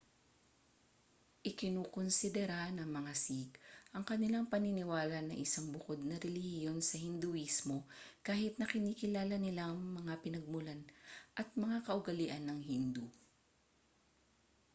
ikinukunsidera ng mga sikh ang kanilang paniniwala na isang bukod na relihiyon sa hinduismo kahit na kinikilala nila ang mga pinagmulan at mga kaugalian ng hindu